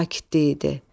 Sakitlik idi.